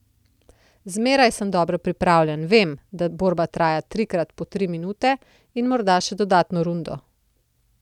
Zmeraj sem dobro pripravljen, vem, da borba traja tri krat po tri minute in morda še dodatno rundo.